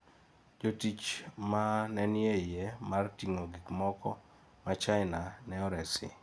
Jotich ma ne nie yie mar ting'o gik moko ma china, ne oresi.